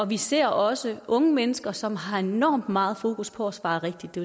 vi ser også unge mennesker som har enormt meget fokus på at svare rigtigt det